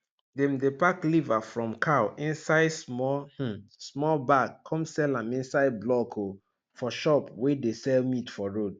dem dey pack liver from cow inside small um small bag come sell am inside block um for shop wey dey sell meat for road